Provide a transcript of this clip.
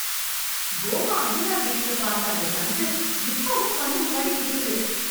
Goa, Anjuna beach ல பார்த்த அந்த சன் செட், இப்பவும் கண்ணு முன்னாடி நிக்கிது.